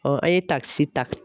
an ye takisi ta.